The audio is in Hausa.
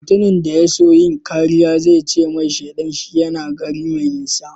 Mutum da ya so yin kariya zai ce mai shaidan shi yana gari mai nisa.